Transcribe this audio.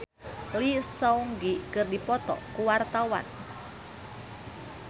Caitlin Halderman jeung Lee Seung Gi keur dipoto ku wartawan